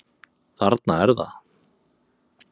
Þarna er það!